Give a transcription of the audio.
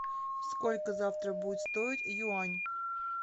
сколько завтра будет стоить юань